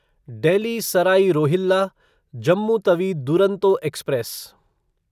Delhi Sarai Rohilla Jammu Tawi Duronto express